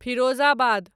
Firozabad